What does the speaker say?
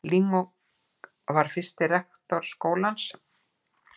Ling var fyrsti rektor skólans.